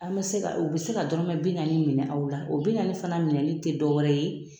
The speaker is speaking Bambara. An bɛ se ka u bɛ se ka dɔrɔmɛ bi naani minɛ aw la o bi naani fana minɛni tɛ dɔwɛrɛ ye